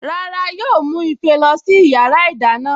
Rárá yóò mú ife lọ sí yàrá ìdáná